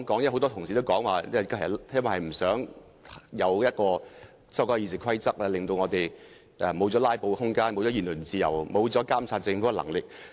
很多同事說不想修改《議事規則》，因為會令議員失去"拉布"的空間、言論自由，以及監察政府的能力。